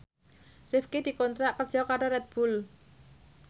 Rifqi dikontrak kerja karo Red Bull